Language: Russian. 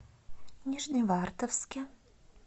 нижневартовске